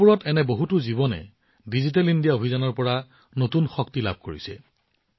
গাওঁবোৰত এনে বহুতো জীৱনে ডিজিটেল ইণ্ডিয়া অভিযানৰ পৰা নতুন শক্তি লাভ কৰিছে